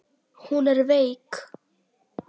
Hún er veik.